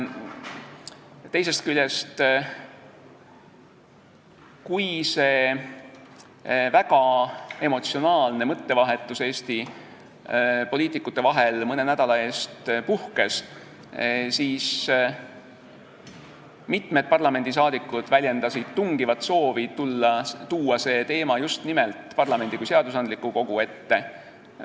Teisest küljest, kui see väga emotsionaalne mõttevahetus Eesti poliitikute vahel mõne nädala eest puhkes, siis mitmed parlamendiliikmed väljendasid tungivat soovi tuua see teema just nimelt parlamendi kui seadusandliku kogu ette.